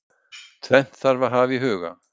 Tvennt þarf að hafa í huga.